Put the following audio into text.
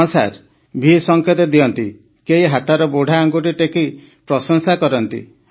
ହଁ sir V ସଙ୍କେତ ଦିଅନ୍ତି କେହି ହାତର ବୁଢ଼ା ଆଙ୍ଗୁଠି ଟେକି ପ୍ରଶଂସା କରନ୍ତି